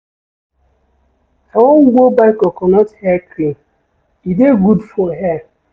I wan go buy coconut hair cream, e dey good for hair.